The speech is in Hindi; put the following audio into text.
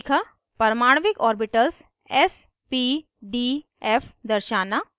परमाणविक orbitals s p d f दर्शाना